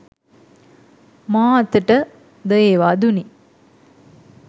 මා අතට ද ඒවා දුනි.